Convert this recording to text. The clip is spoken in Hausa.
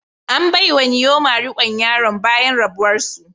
An bai wa Nneoma rikon yaran bayan rabuwar su.